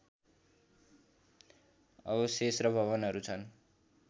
अवशेष र भवनहरू छन्